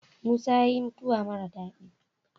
Musa yayi mutawa mara dadi